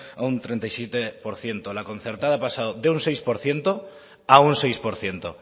a un treinta y siete por ciento la concertada ha pasado de un seis por ciento a un seis por ciento